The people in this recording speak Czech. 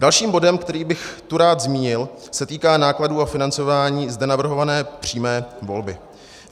Další bod, který bych tu rád zmínil, se týká nákladů a financování zde navrhované přímé volby.